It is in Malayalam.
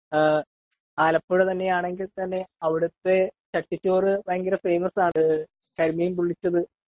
ആലപ്പുഴ തന്നെ ആണെങ്കിൽ തന്നെ അവിടുത്തെ ചട്ടി ചോറ് ഭയങ്കര ഫേമസ്‌ ആണ് .കരിമീൻ പൊളളിച്ചത് .